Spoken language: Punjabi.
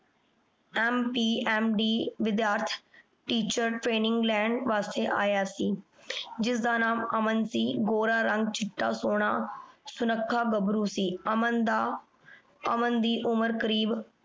MPMD ਵਿਦ੍ਯਾਰਥ teacher training ਲੈਣ ਵਾਸ੍ਟੀ ਆਯਾ ਸੀ ਜਿਸਦਾ ਨਾਮ ਅਮਨ ਸੀ ਗੋਰਾ ਰੰਗ ਚਿਤਾ ਸੋਹਨਾ ਸੁਨਾਖਾ ਗਬਰੂ ਸੀ ਅਮਨ ਦਾ ਅਮਨ ਦੀ ਉਮਰ ਕਰੀਬ